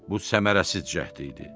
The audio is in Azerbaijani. Bu səmərəsiz cəhd idi.